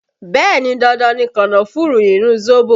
Bẹẹ ni, dandan ni kànnáfùrù nínú zobo